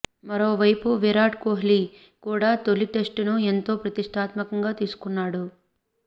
మరోవైపు విరాట్ కోహ్లీ కూడా తొలి టెస్టును ఎంతో ప్రతిష్టాత్మకంగా తీసుకున్నాడు